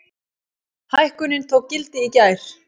Hækkunin tók gildi í gær.